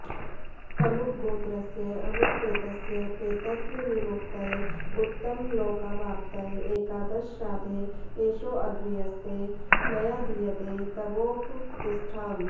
अमुकगोत्रस्य अमुकप्रेतस्य प्रेतत्वविमुक्तये उत्तमलोकावाप्तये एकादश श्राद्धे एषोऽघ्र्यस्ते मया दीयते तवोपतिष्ठताम्